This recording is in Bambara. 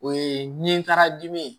O ye nin kara dimi ye